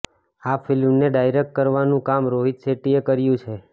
આ ફિલ્મ ને ડાયરેક્ટ કરવાનું કામ રોહિત શેટ્ટી એ કર્યું છે